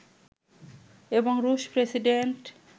এবং রুশ প্রেসিডেন্ট